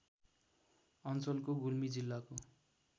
अञ्चलको गुल्मी जिल्लाको